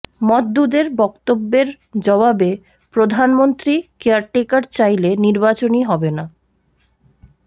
মওদুদের বক্তব্যের জবাবে প্রধানমন্ত্রী কেয়ারটেকার চাইলে নির্বাচনই হবে না